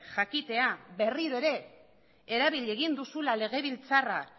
jakitea berriro ere erabili egin duzula legebiltzarra